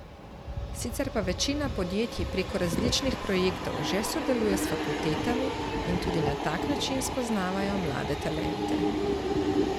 Sicer pa večina podjetij preko različnih projektov že sodeluje s fakultetami in tudi na tak način spoznavajo mlade talente.